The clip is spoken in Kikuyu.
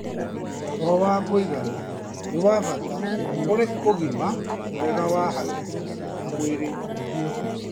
toro wa kũigana nĩ wa bata kũrĩ ũgima mwega wa hakiri na mwĩrĩ